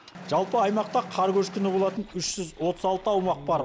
жалпы аймақта қар көшкіні болатын үш жүз отыз алты аумақ бар